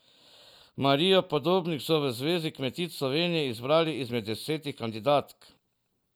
Marijo Podobnik so v Zvezi kmetic Slovenije izbrali izmed desetih kandidatk.